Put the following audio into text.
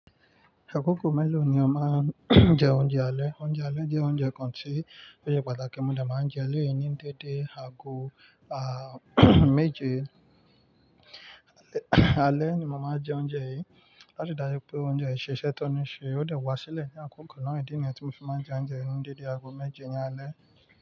Àkókò mélòó ni o máa ń jẹ oúnjẹ alẹ́? Oúnjẹ alẹ́ jẹ́ oúnjẹ kan tí ó sẹ́ pàtàkì. Mo lè máa ń jẹ ele yen ní dédé aago, à, méje. Alẹ́, ni mo máa ń jẹ oúnjẹ yìí. Láti dájú pé oúnjẹ yìí ṣe iṣẹ́ tó ní ṣe, ó lè wá sílẹ̀ ní àkókò náà. Ìdí nìyẹn tí mo fi máa ń jẹ oúnjẹ ni dédé aago méje ní alẹ́.